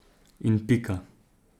In pika.